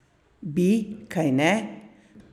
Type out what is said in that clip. Bi, kajne?